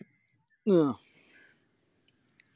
ആഹ്